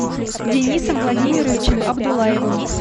денисом владимировичем абдуллаевым